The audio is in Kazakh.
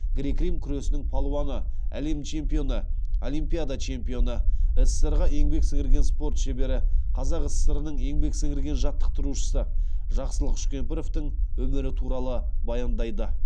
грек рим күресінің палуаны әлем чемпионы олимпиада чемпионы ссср ға еңбек сіңірген спорт шебері қазақ сср нің еңбек сіңірген жаттықтырушысы жақсылық үшкемпіровтің өмірі туралы баяндайды